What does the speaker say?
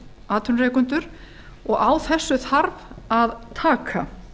atvinnurekendur og á þessu þarf að taka